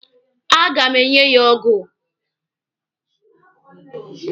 A ga m enye ya ọgụ.